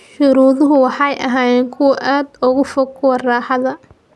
shuruuduhu waxay ahaayeen kuwo aad uga fog kuwa raaxada.